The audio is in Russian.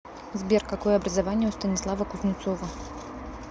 сбер какое образование у станислава кузнецова